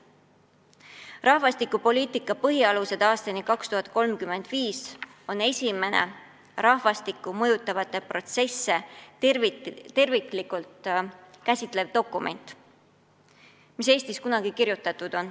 "Rahvastikupoliitika põhialused aastani 2035" on esimene rahvastikku mõjutavaid protsesse terviklikult käsitlev dokument, mis Eestis kunagi kirjutatud on.